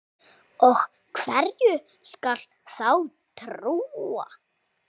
Og hverju skal þá trúa?